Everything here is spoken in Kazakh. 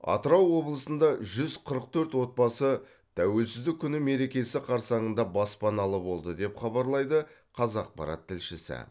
атырау облысында жүз қырық төрт отбасы тәуелсіздік күні мерекесі қарсаңында баспаналы болды деп хабарлайды қазақпарат тілшісі